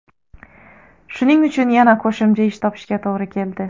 Shuning uchun yana qo‘shimcha ish topishga to‘g‘ri keldi.